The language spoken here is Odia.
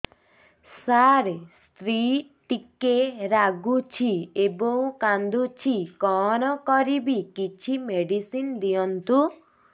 ସାର ସ୍ତ୍ରୀ ଟିକେ ରାଗୁଛି ଏବଂ କାନ୍ଦୁଛି କଣ କରିବି କିଛି ମେଡିସିନ ଦିଅନ୍ତୁ